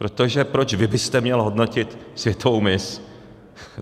Protože proč vy byste měl hodnotit světovou miss?